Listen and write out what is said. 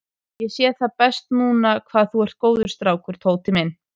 Ég sé það best núna hvað þú ert góður strákur, Tóti minn.